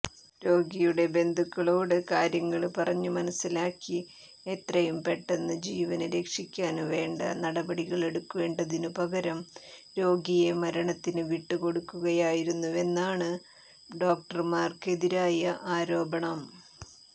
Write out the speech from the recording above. രോഗിയുടെ ബന്ധുക്കളോട് കാര്യങ്ങള് പറഞ്ഞുമനസ്സിലാക്കി എത്രയും പെട്ടെന്ന് ജീവന് രക്ഷിക്കാന് വേണ്ട നടപടികളെടുക്കേണ്ടതിനുപകരം രോഗിയെ മരണത്തിന് വിട്ടുകൊടുക്കുകയായിരുന്നുവെന്നാണ് ഡോക്ടര്മാര്ക്കെതിരായ ആരോപണം